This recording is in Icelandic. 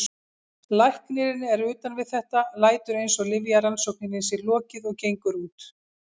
Læknirinn er utan við þetta, lætur eins og lyfjarannsókninni sé lokið og gengur út.